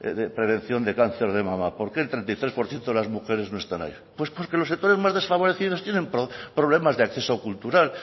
de prevención de cáncer de mama por qué el treinta y tres por ciento de las mujeres no están ahí pues porque los sectores más desfavorecidos tienen problemas de acceso cultural